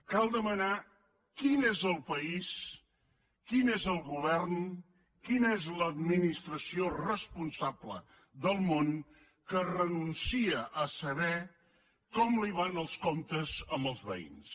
cal demanar quin és el país quin és el govern quina és l’administració responsable del món que renuncia a saber com li van els comptes amb els veïns